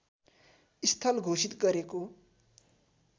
स्थल घोषित गरेको